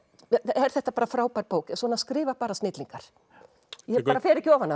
er þetta frábær bók svona skrifa bara snillingar ég bara fer ekki ofan